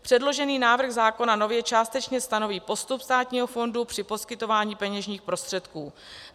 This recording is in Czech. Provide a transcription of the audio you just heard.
Předložený návrh zákona nově částečně stanoví postup státního fondu při poskytování peněžních prostředků.